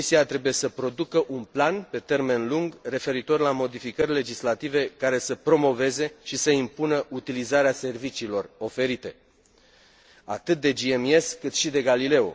Comisia trebuie să producă un plan pe termen lung, referitor la modificări legislative care să promoveze și să impună utilizarea serviciilor oferite, atât de GMES, cât și de Galileo.